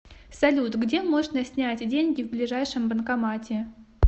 салют где можно снять деньги в ближайшем банкомате